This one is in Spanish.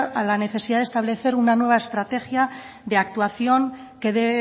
a la necesidad de establecer una nueva estrategia de actuación que dé